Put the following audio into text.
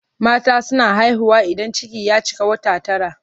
Mata suna haihuwa idan ciki ya cika wata tara.